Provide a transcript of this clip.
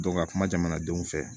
ka kuma jamanadenw fɛ